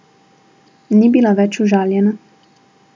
Ni bila več užaljena.